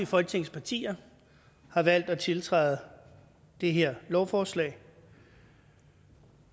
folketingets partier har valgt at tiltræde det her lovforslag